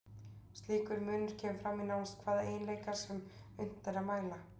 Slíkur munur kemur fram í nánast hvaða eiginleika sem unnt er að mæla.